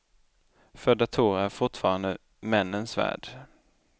För datorer är fortfarande männens värld.